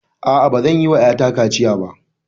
A'a, a'a. Bazan yi wa ƴata kaciya ba.